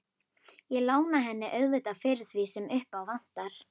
Ég lána henni auðvitað fyrir því sem upp á vantar.